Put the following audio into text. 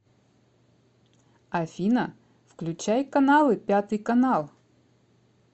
афина включай каналы пятый канал